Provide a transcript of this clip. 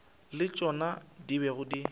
le tšona di bego di